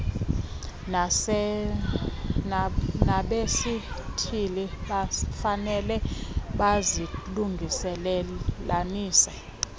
nabesithili bafanele bazilungelelanise